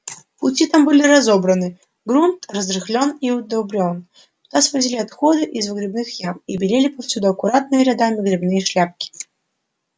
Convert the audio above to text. пути там были разобраны грунт разрыхлён и удобрён туда свозили отходы из выгребных ям и белели повсюду аккуратными рядами грибные шляпки